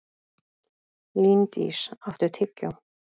Líndís, áttu tyggjó?